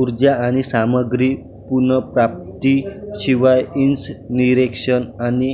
ऊर्जा आणि सामग्री पुनर्प्राप्ती शिवाय इंन्सनीरेशन आणि